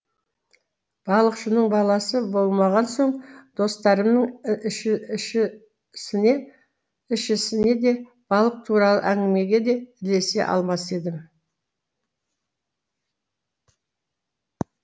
балықшының баласы болмаған соң достарымның ішісіне де балық туралы әңгімеге де ілесе алмас едім